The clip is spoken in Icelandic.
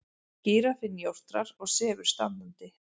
Gíraffinn jórtrar og sefur standandi.